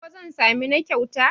ko zan sami na kyauta?